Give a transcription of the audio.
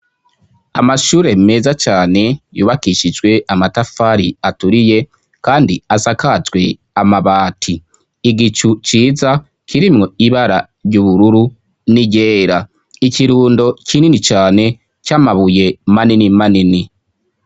Amashure meza cane yubakishijwe amatafari aturiye kandi asakajwe amabati. Igicu ciza kirimwo ibara ry'ubururu n'iryera. Ikirundo kinini cane c'amabuye manini manini.